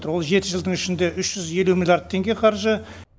ол жеті жылдың ішінде үш жүз елу миллиард теңге қаржы